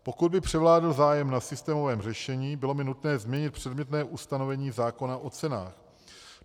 Pokud by převládl zájem na systémovém řešení, bylo by nutné změnit předmětné ustanovení zákona o cenách.